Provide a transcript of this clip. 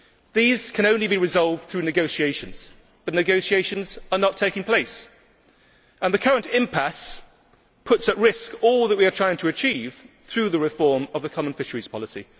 These can only be resolved through negotiations, but negotiations are not taking place and the current impasse puts at risk all that we are trying to achieve through the reform of the common fisheries policy.